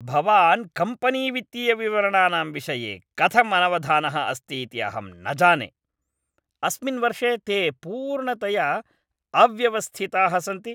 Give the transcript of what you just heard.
भवान् कम्पनीवित्तीयविवरणानां विषये कथम् अनवधानः अस्ति इति अहं न जाने, अस्मिन् वर्षे ते पूर्णतया अव्यवस्थिताः सन्ति।